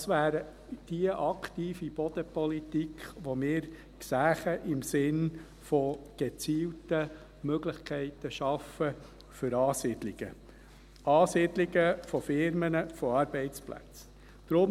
Das wäre die aktive Bodenpolitik, die wir sehen würden, im Sinne von gezielten Möglichkeiten für Ansiedlungen von Firmen, von Arbeitsplätzen schaffen: